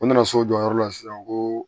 U nana so o jɔyɔrɔ la sisan ko